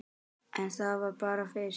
En það var bara fyrst.